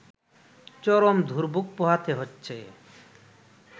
চরম দুর্ভোগ পোহাতে হচ্ছে